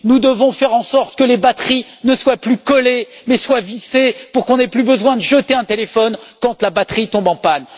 Nous devons faire en sorte que les batteries ne soient plus collées, mais soient vissées pour qu'on n'ait plus besoin de jeter un téléphone quand la batterie tombe en panne.